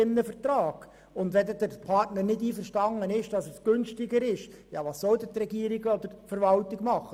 Wenn der Partner mit dem günstigeren Tarif nicht einverstanden ist, was soll die Verwaltung dann tun?